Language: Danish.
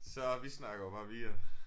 Så vi snakker jo bare videre